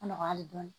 Nɔgɔya hali dɔɔni